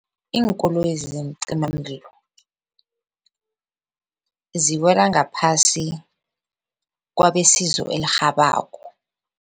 Iinkoloyezi zeencimamlilo ziwela ngaphasi kwabesizo elirhabako.